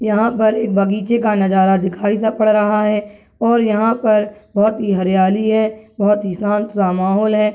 यहाँ पर एक बगीचे का नजारा दिखाई सा पड़ रहा है और यहाँ पर बहुत ही हरियाली है बहुत ही शांत सा माहौल है।